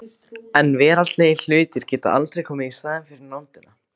En veraldlegir hlutir geta aldrei komið í staðinn fyrir nándina.